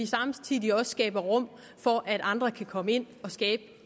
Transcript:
samtidig skaber rum for at andre kan komme ind og skabe